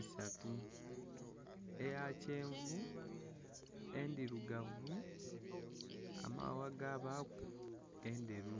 isatu. Eya kyenvu, endhirugavu, amaghagha gabaaku enderu.